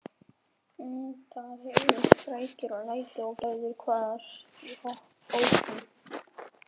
Það heyrðust skrækir og læti og Gerður hvarf í hópinn.